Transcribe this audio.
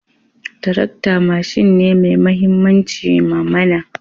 Tarakta mashin ne mai mahimmanci ma mana